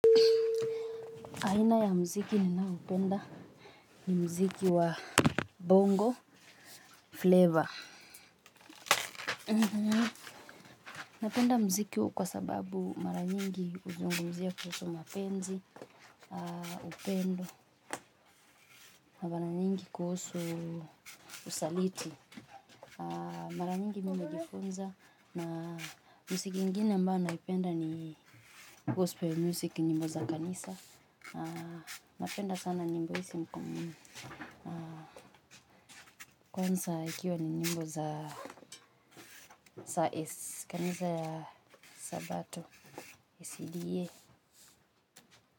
Aina ya muziki ninaopenda ni muziki wa bongo flavour napenda muziki huu kwa sababu mara nyingi huzungumzia kuhusu mapenzi, upendo na mara nyingi kuhusu usaliti mara nyingi mingi hujifunza na muziki ingine ambao naupenda ni gospel music nyimbo za kanisa napenda sana nyimbo hizi kwanza ikiwa ni nyimbo za kanisa ya sabato Sda.